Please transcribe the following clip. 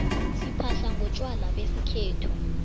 siphahla ngontjwala besikhethu